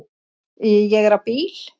Ég er á bíl